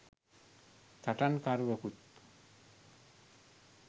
සටන් කරුවකුත්